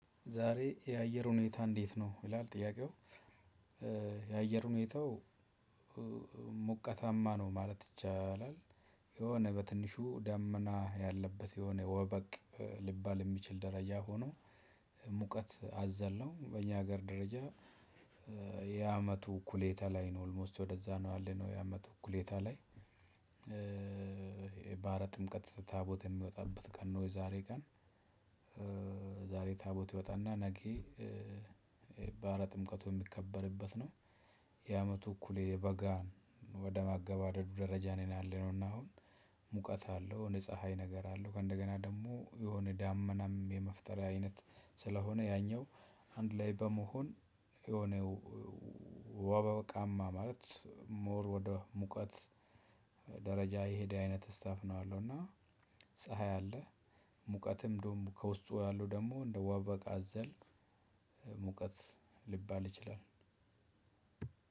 ዛሬ የአየር ሁኔታ እንዴት ነው? ይላል ጥያቄው የአየር ሁኔታው ሞቀታማ ነው ማለት ይቻላል። የሆነ በትንሹ ዳመና ያለበት የሆነ ወበቅ ሊባል የሚችል ደረጃ ሆኖ ሙቀት አዘል ነው በእኛ ሀገር ደረጃ። የአመቱ እኩሌታ ላይ ነው ኦልሞስት ወደዛ ነው አለ ነው የአመቱ እኩሌታ ላይ። የባህረ ጥምቀት ታቦት የሚወጣበት ቀን ነው የዛሬ ቀን። ዛሬ ታቦት ይወጣና ነገ በአረ ጥምቀቱ የሚከበርበት ነው። የአመቱ እኩሌ በጋ ወደ ማገባደዱ ደረጃ ነው ያለነው። እና አሁን ሙቀት አለው ንጹህ ፀሀይ ነገር አለው ከእንደገና ደግሞ የሆነ ዳመናም የመፍጠር አይነት ስለሆነ ያኛው አንድ ላይ በመሆን። የሆነ ወበ ወበቃማ ማለት ሞር ወደ ሙቀት ደረጃ የሄደ አይነት ስታፍ ነው አለው። እና ፀሀይ አለ ሙቀትም እንደውም ከውስጡ ያለው ደግሞ እንደ ዋበቃ አዘል ሙቀት ሊባል ይችላል።